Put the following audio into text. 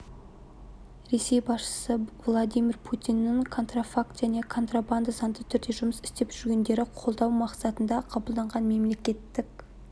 ресей басшысы владимир путиннің контрафакт және контрабанда заңды түрде жұмыс істеп жүргендерді қолдау мақсатында қабылданған мемлекеттік